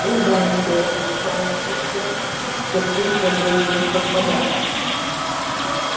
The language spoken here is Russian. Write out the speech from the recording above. всегда интересно какая мелодия и с каким событием совпадёт